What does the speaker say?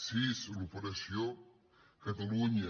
sis l’operació catalunya